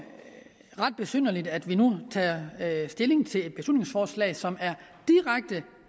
ret besynderligt at vi nu tager stilling til et beslutningsforslag som er